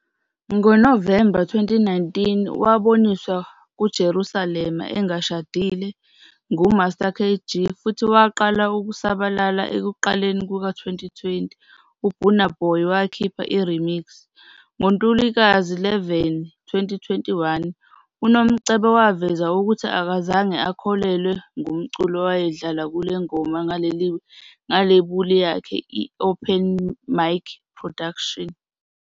NgoNovemba 2019, waboniswa ku- "Jerusalem" engashadile nguMaster KG futhi waqala ukusabalala ekuqaleni kuka-2020, uBurna Boy wakhipha i-remix. NgoNtulikazi 11, 2021, uNomcebo waveza ukuthi akazange akhokhelwe ngomculo ayewudlala kule ngoma ngelebuli yakhe i-Open Mic Productions.